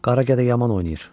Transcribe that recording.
Qara gedə yaman oynayır.